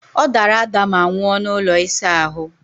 Ọdara ada ma nwụọ n'ụlọ ịsa ahụ!